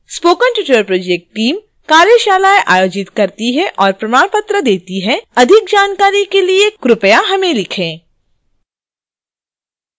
spoken tutorial project team कार्यशालाएं आयोजित करती है और प्रमाण पत्र देती है अधिक जानकारी के लिए कृपया हमें लिखें